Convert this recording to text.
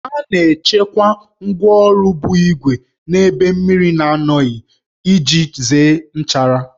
A na-echekwa ngwáọrụ bụ ígwè n'ebe mmiri na-anọghị iji zere nchara